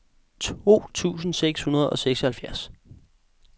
to tusind seks hundrede og seksoghalvfjerds